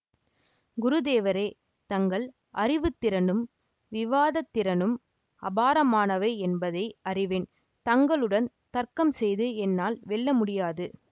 குருதேவரே தங்கள் அறிவுத்திறனும் விவாதத்திறனும் அபாரமானவை யென்பதை அறிவேன் தங்களுடன் தர்க்கம் செய்து என்னால் வெல்ல முடியாது